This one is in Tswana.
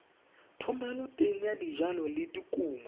thomeloteng ya dijalo le dikumo